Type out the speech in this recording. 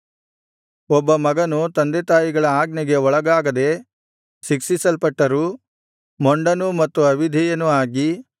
ಒಬ್ಬ ಮಗನು ತಂದೆತಾಯಿಗಳ ಆಜ್ಞೆಗೆ ಒಳಗಾಗದೆ ಶಿಕ್ಷಿಸಲ್ಪಟ್ಟರೂ ಮೊಂಡನೂ ಮತ್ತು ಅವಿಧೇಯನೂ ಆಗಿ